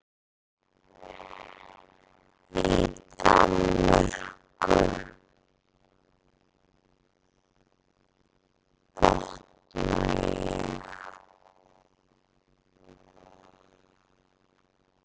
Í Danmörku, botna ég.